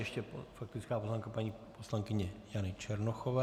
Ještě faktická poznámka paní poslankyně Jany Černochové.